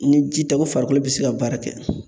Ni ji tɛ ko farikolo be se ka baara kɛ